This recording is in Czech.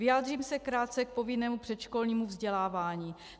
Vyjádřím se krátce k povinnému předškolnímu vzdělávání.